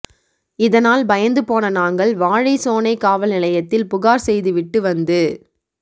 இதனால் பயந்து போன நாங்கள் வாழைசோனை காவல் நிலையத்தில் புகார் செய்து விட்டு வந்து